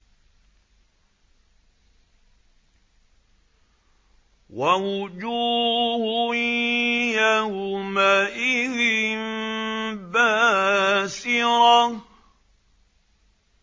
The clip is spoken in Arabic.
وَوُجُوهٌ يَوْمَئِذٍ بَاسِرَةٌ